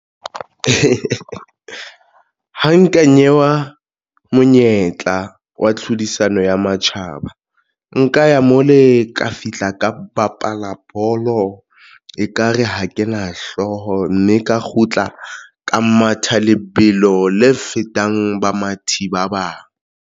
Ha nka newa monyetla wa tlhodisanong ya matjhaba nka ya mole ka fihla ka bapala bolo ekare ha ke na hlooho mme ka kgutla ka matha lebelo le fetang bamathi ba bang.